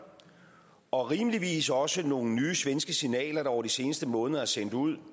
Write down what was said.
og rimeligvis også af nogle nye svenske signaler der over de seneste måneder er sendt ud